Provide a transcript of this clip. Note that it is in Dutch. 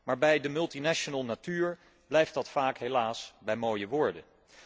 Maar bij de multinational natuur blijft dat helaas vaak bij mooie woorden.